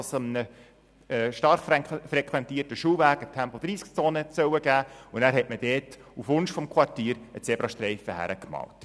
Es sollte auf einem stark frequentierten Schulweg eine Tempo-30-Zone eingeführt werden, und man hat dort auf Wunsch des Quartiers einen Zebrastreifen angebracht.